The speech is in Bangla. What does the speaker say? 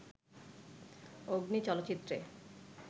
'অগ্নি' চলচ্চিত্রে